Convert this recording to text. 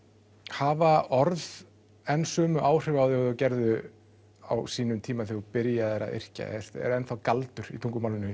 hafa orð enn sömu áhrif á þig og þau gerðu á sínum tíma þegar þú byrjaðir að yrkja er enn þá galdur í tungumálinu